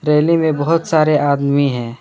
मेले में बहोत सारे आदमी हैं।